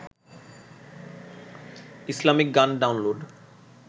Islamic গান download